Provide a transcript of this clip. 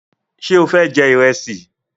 Ṣe o fẹ jẹ ìrẹsì?